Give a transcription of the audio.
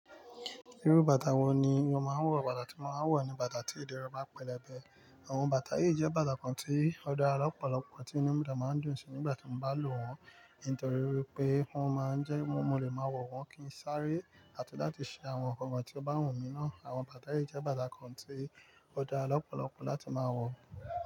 Irú bàtà wo ni o máa ń wọ̀? Bàtà tí mo máa ń wọ̀ ni bàtà tí ìdí rẹ̀ bá pẹlẹbẹ. Àwọn bàtà yìí jẹ́ bàtà kan tí ó dára lọ́pọ̀lọpọ̀ tí inú mi dẹ máa ń dùn sí nígbà tí mo bá lò wọ́n. Nítorí wipé wọ́n máa ń jẹ́ mo lè máa wọ̀ wọ́n kí n sáré àti láti ṣe àwọn nǹkan kan tí ó bá wù mí ná. Àwọn bàtà yìí jẹ́ bàtà kan tí ó dára lọ́pọ̀lọpọ̀ láti máa wọ̀